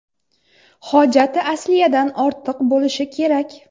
Hojati asliyadan ortiq bo‘lishi kerak.